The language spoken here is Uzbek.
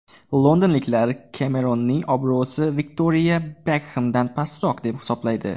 Londonliklar Kemeronning obro‘si Viktoriya Bekxemdan pastroq deb hisoblaydi.